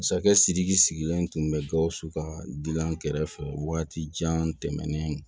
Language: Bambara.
Masakɛ sidiki sigilen tun bɛ gawusu ka dilan kɛrɛfɛ waati jan tɛmɛnen